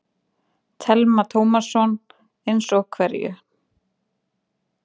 Telma Tómasson: Eins og hverju?